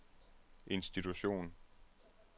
institution